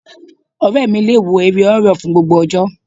Ọ̀rẹ́ mi le wo eré horror fún gbogbo ọjọ́.